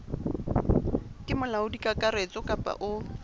ke molaodi kakaretso kapa o